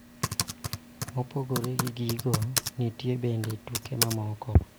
Mopogore gi gigo, nitie bende tuke mamoko .